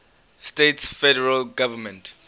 states federal government